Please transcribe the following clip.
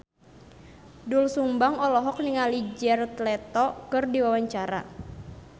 Doel Sumbang olohok ningali Jared Leto keur diwawancara